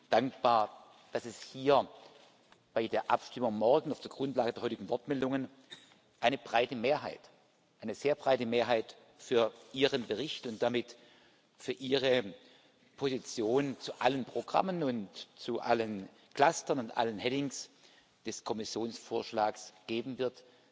Ich bin dankbar, dass es hier bei der Abstimmung morgen auf der Grundlage der heutigen Wortmeldungen eine breite Mehrheit, eine sehr breite Mehrheit für Ihren Bericht und damit für Ihre Positionen zu allen Programmen und zu allen Clustern und allen Headings des Kommissionsvorschlags geben wird.